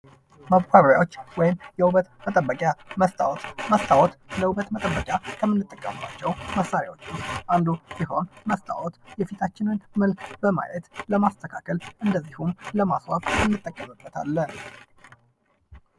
ማሳያዎች ወይም የውበት መጠበቂያ መስታት መስታዎት ለዉበት መጠበቂያ ከምንጠቀምበት መሣሪያዎች ውስጥ አንዱ ሲሆን መስታወት የፊታችንን መልዕክት በማየት ለማስተካከል እንዲሁም ለማስዋብ እንጠቀምበታለን ::